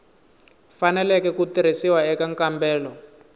faneleke ku tirhisiwa eka nkambelo